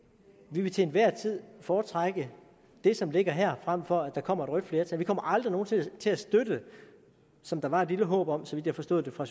vi vil til enhver tid foretrække det som ligger her frem for at der kommer rødt flertal vi kommer aldrig nogen sinde til at støtte som der var et lille håb om så vidt jeg forstod det fra